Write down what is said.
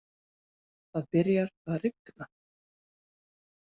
Það byrjar að rigna.